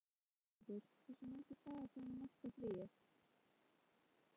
Ylfingur, hversu margir dagar fram að næsta fríi?